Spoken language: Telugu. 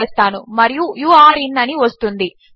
అని వస్తుంది మనము మన యూజర్ నేం చెక్ చేసాము మరియు అది ఉంది